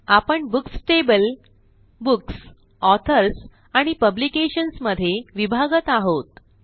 आपणBooks table books authors आणि publications मध्ये विभागत आहोत